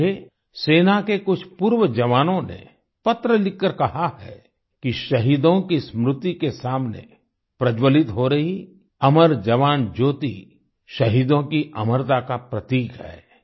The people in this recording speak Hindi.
मुझे सेना के कुछ पूर्व जवानों ने पत्र लिखकर कहा है कि शहीदों की स्मृति के सामने प्रज्जवलित हो रही अमर जवान ज्योति शहीदों की अमरता का प्रतीक है